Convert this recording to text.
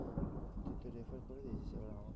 তুই তো refer করে দিয়েছিস এবার আমাকে